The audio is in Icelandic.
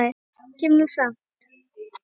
Ég kem nú samt!